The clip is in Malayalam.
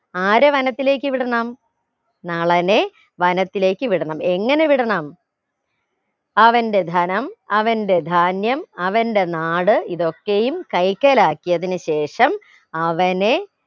ആരെ വനത്തിലേക്ക് വിടണം നളനെ വനത്തിലേക്ക് വിടണം എങ്ങനെ വിടണം അവന്റെ ധനം അവന്റെ ധാന്യം അവന്റെ നാട് ഇതൊക്കെയും കൈക്കലാക്കിയതിനു ശേഷം അവനെ